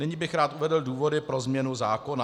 Nyní bych rád uvedl důvody pro změnu zákona.